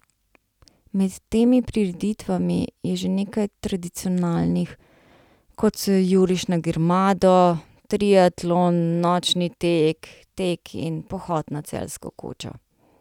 Med temi prireditvami je že nekaj tradicionalnih, kot so Juriš na Grmado, triatlon, nočni tek, tek in pohod na Celjsko kočo.